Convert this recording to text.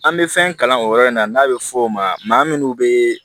An bɛ fɛn kalan o yɔrɔ in na n'a bɛ fɔ o ma maa munnu bee